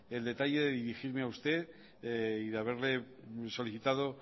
el detalle de dirigirme a usted y de haberle solicitado